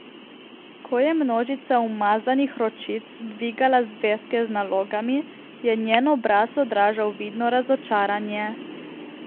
Ko je množica umazanih ročic dvigala zvezke z nalogami, je njen obraz odražal vidno razočaranje.